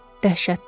Dəhşətdir!